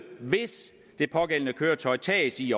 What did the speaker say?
hvis det pågældende køretøj tages i